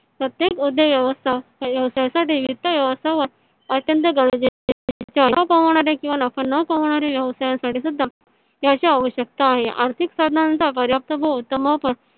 प्रत्येक उद्योग व्यवसायासाठी वित्त व्यवस्थापन अत्यंत गरजेचे आहे. नफा पवणारे किवा नफा न पवणाऱ्या व्यवसायासाठी सुद्धा त्याची आवश्यकता आहे आर्थिक साधना नंतर